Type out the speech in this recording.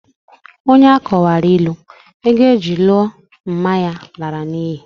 Onye akọwaara ilu, ego eji lụọ mma ya lara n'ihi.